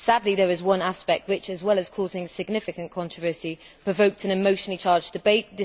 Sadly there is one aspect which, as well as causing significant controversy, provoked an emotionally charged debate